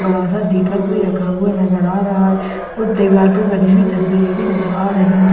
बड़ा सा दीपक भी रखा हुआ नजर आ रहा है वो दीवार पे बनी हुई तस्वीरें भी नजर आ रही हैं।